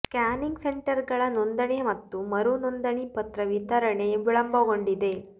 scanning ಸೆಂಟರ್ಗಳ ನೋಂದಣಿ ಮತ್ತು ಮರು ನೋಂದಣಿ ಪತ್ರ ವಿತರಣೆ ವಿಳಂಬಗೊಂಡಿದೆ